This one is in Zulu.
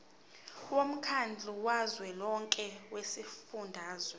womkhandlu kazwelonke wezifundazwe